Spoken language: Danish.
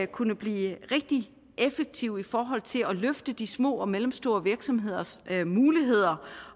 kunne blive rigtig effektivt i forhold til at løfte de små og mellemstore virksomheders muligheder